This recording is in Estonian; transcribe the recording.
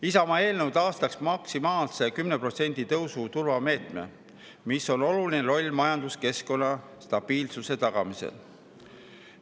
Isamaa eelnõu taastaks maksimaalse 10% tõusu turvameetme, millel on oluline roll majanduskeskkonna stabiilsuse tagamisel.